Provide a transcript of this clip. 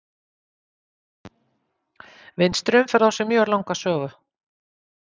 Vinstri umferð á sér mjög langa sögu.